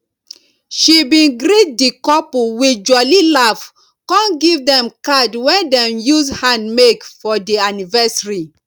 she bin greet di couple with jolly laf con give dem card wen dem use hand make for di annivasary